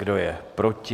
Kdo je proti?